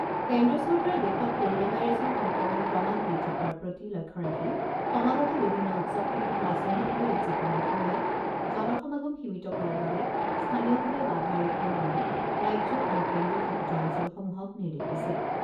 কেন্দ্ৰীয় চৰকাৰে দেশত ক'ৰণা ভাইৰাছৰ সংক্ৰমণ ক্ৰমাৎ বৃদ্ধি পোৱাৰ প্ৰতি লক্ষ্য ৰাখি সমাগত বিভিন্ন উৎসৱসমূহ ৰাজহুৱাভাৱে উদযাপনৰ সময়ত জন সমাগম সীমিত কৰাৰ বাবে স্থানীয়ভাৱে বাধা আৰোপ কৰিবলৈ ৰাজ্য আৰু কেন্দ্ৰীয় শাসিত অঞ্চলসমূহক নিৰ্দেশ দিছে।